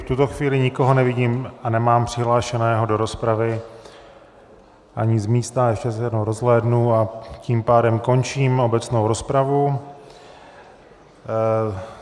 V tuto chvíli nikoho nevidím a nemám přihlášeného do rozpravy, ani z místa, ještě se jednou rozhlédnu, a tím pádem končím obecnou rozpravu.